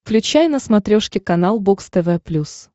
включай на смотрешке канал бокс тв плюс